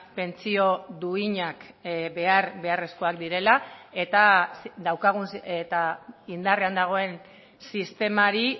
pentsio duinak behar beharrezkoak direla eta daukagun eta indarrean dagoen sistemari